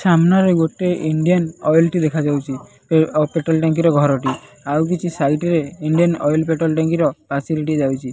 ସାମ୍ନାରେ ଗୋଟେ Indian oil ଟି ଦେଖାଯାଉଛି ଆଉ ପେଟ୍ରୋଲ ଟାଙ୍କିର ଘରଟିଏ ଆଉକିଛି ସାଇଟରେ ଇଣ୍ଡିଆନ୍ ଅଏଲ ପେଟ୍ରୋଲ ଟାଙ୍କିର ପାସିନିଟି ଯାଉଚି ।